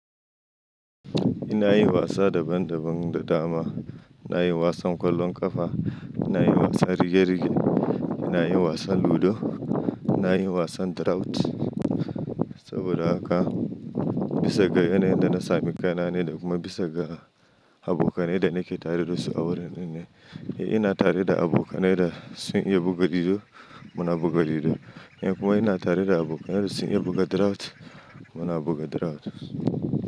Ina yin wasa daban daban da dama. Na yi wasan kwallon kafa, ina yin wasan rige rige, ina yin wasan ludo, ina yin wasan drought. Saboda haka bisa ga yanayin da na sami kaina ne da kuma bisa ga abokanai da nake tare da su a wuraren ne. In ina tare da abokanai da sun iya buga ludo muna buga ludo, in kuma ina tare da abokanai da sun iya buga drought muna buga drought.